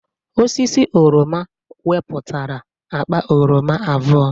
Osisi oroma weputara akpa oroma abụọ